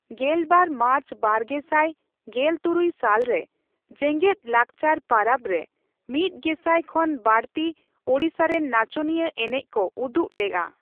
ᱜᱮᱞᱵᱟᱨ ᱢᱟᱨᱪ ᱵᱟᱨᱜᱮᱥᱟᱴ ᱜᱮᱞᱛᱩᱨᱩᱭ ᱥᱟᱞ ᱨᱮ, ᱡᱮᱜᱮᱫ ᱞᱟᱠᱪᱟᱨ ᱯᱟᱨᱟᱵᱽ ᱨᱮ ᱢᱤᱛ ᱜᱮᱥᱟᱭ ᱠᱷᱚᱱ ᱵᱟᱹᱲᱛᱤ ᱚᱰᱤᱥᱟ ᱨᱮᱱ ᱱᱟᱪᱚᱱᱤᱭᱟᱹ ᱮᱱᱮᱡ ᱠᱚ ᱩᱫᱩᱜ ᱞᱮᱜᱼᱟ ᱾